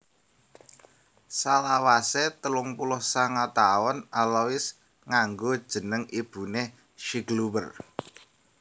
Salawasé telung puluh sanga taun Alois nganggo jeneng ibuné Schicklgruber